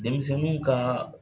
Denmisɛnninw kan